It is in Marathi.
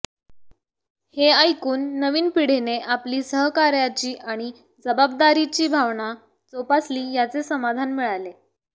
हे ऐकून नवीन पिढीने आपली सहकार्याची आणि जबाबदारीची भावना जोपासली याचे समाधान मिळाले